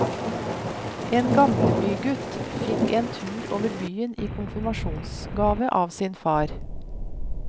En gamlebygutt fikk en tur over byen i konfirmasjonsgave av sin far.